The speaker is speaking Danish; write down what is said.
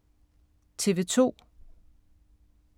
TV 2